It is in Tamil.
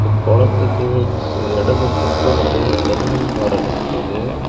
குளத்துக்கு இடது பக்கம் நெறைய தென்ன மரம் நிக்குது.